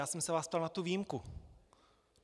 Já jsem se vás ptal na tu výjimku.